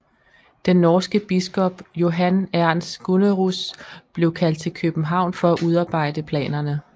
Den norske biskop Johan Ernst Gunnerus blev kaldt til København for at udarbejde planerne